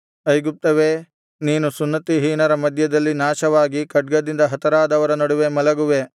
ಐಗುಪ್ತ್ಯವೇ ನೀನು ಸುನ್ನತಿಹೀನರ ಮಧ್ಯದಲ್ಲಿ ನಾಶವಾಗಿ ಖಡ್ಗದಿಂದ ಹತರಾದವರ ನಡುವೆ ಮಲಗುವೆ